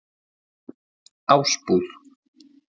Ásbúð